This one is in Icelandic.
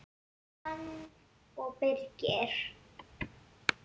Jóhanna og Birgir.